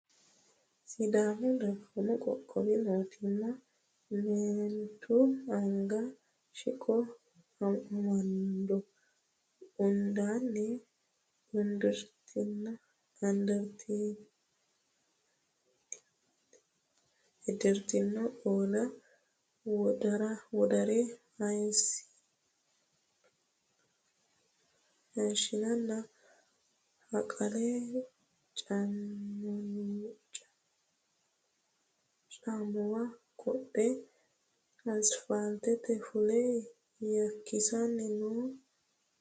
Sidaamu dagoomi qoqqowi mootimma meenti anga siqqo amando. Uddanna uddirinoti qolo, wodaare, hayissonna haqale caammuwa qodhe asfaaltete fule yakkisa ni no.